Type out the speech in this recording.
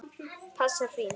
Frans páfi